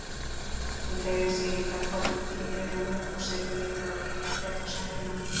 Hún teygði sig í það, hvolfdi því yfir rúmið og silfurlitaður lykill féll á sængina.